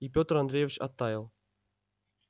и пётр андреевич оттаял